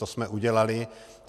To jsme udělali.